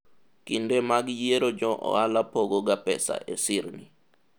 kinde mag yiero jo ohala pogo ga pesa e sirni